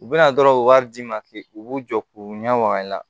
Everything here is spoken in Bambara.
U bɛna dɔrɔn u bɛ wari d'i ma k'i b'u jɔ k'u ɲɛ waga